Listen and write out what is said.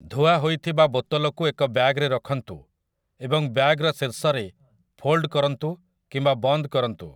ଧୁଆହୋଇଥିବା ବୋତଲକୁ ଏକ ବ୍ୟାଗରେ ରଖନ୍ତୁ ଏବଂ ବ୍ୟାଗର ଶୀର୍ଷରେ ଫୋଲ୍ଡ କରନ୍ତୁ କିମ୍ବା ବନ୍ଦ କରନ୍ତୁ ।